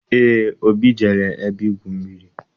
Eé, Obi jere ebe igwu mmiri.